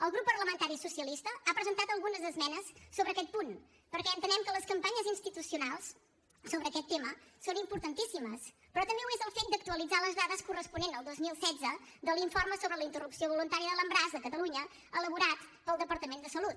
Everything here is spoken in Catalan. el grup parlamentari socialista ha presentat algunes esmenes sobre aquest punt perquè entenem que les campanyes institucionals sobre aquest tema són importantíssimes però també ho és el fet d’actualitzar les dades corresponents al dos mil setze de l’informe sobre la interrupció voluntària de l’embaràs de catalunya elaborat pel departament de salut